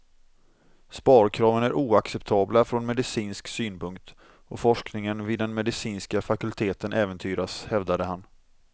Sparkraven är oacceptabla från medicinsk synpunkt och forskningen vid den medicinska fakulteten äventyras, hävdade han.